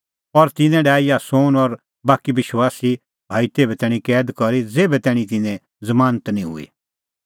और तिन्नैं डाहै यासोन और बाकी विश्वासी भाई तेभै तैणीं कैद करी ज़ेभै तैणीं तिन्नें ज़मानत निं हुई